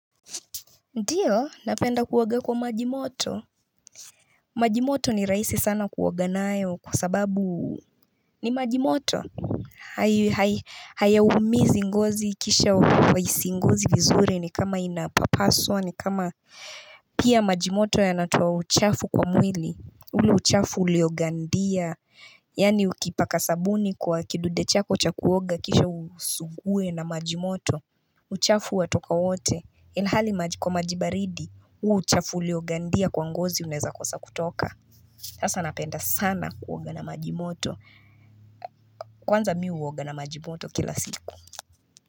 Ndiyo napenda kuoga kwa majimoto majimoto ni rahisi sana kuoga nayo kwa sababu ni majimoto haya umizi ngozi kisha kwaisi ngozi vizuri ni kama inapapaswa ni kama Pia majimoto yanatoa uchafu kwa mwili ule uchafu uleogandia Yani ukipaka sabuni kwa kidude chako cha kuoga kisha usugue na majimoto uchafu wa toka wote ilhali kwa majibaridi huo uchafu uliogandia kwa ngozi unaeza kosa kutoka hasa napenda sana kuoga na majimoto kwanza mi uoga na majimoto kila siku.